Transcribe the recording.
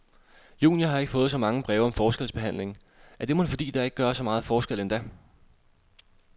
Junior har ikke fået så mange breve om forskelsbehandling, er det mon fordi, der ikke gøres så meget forskel endda.